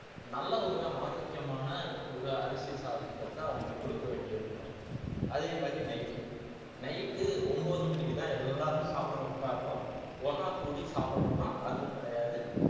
நல்ல ஒரு ஆரோக்கியமான ஒரு அரிசி சாதத்தை அவங்களுக்கு குடுக்க வேண்டி இருக்கணும் அதே மாதிரி night உ night உ ஒன்பது மணிக்குதான் எல்லாரும் சாப்பிட உட்காருறோம் ஒண்ணா கூடி சாப்பிடுறோமா அதுவும் கிடையாது